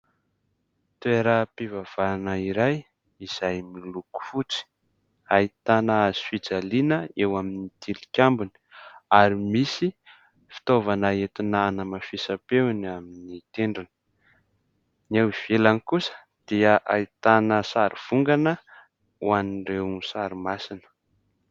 Teoram-pivavahana iray izay miloko fotsy. Ahitana hazofijaliana eo amin'ny tilikambony ary misy fitaovana entina hanamafisam-peo eny amin'ny tendrony. Ny eo ivelany kosa dia ahitana sarivongana ho an'ireo sary masina.